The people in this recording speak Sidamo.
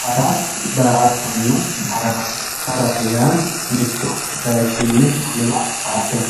Hara daa`atona darama harate yaa mitto bayichini wole bayicho sa`ate